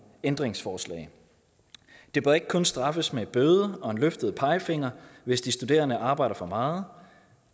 ændringsforslag det bør ikke kun straffes med bøde og en løftet pegefinger hvis de studerende arbejder for meget og